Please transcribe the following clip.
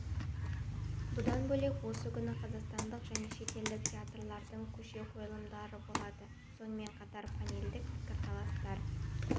бұдан бөлек осы күні қазақстандық және шетелдік театрлардың көше қойылымдары болады сонымен қатар панельдік пікірталастар